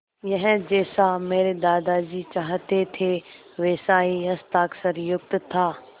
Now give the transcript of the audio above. यह जैसा मेरे दादाजी चाहते थे वैसा ही हस्ताक्षरयुक्त था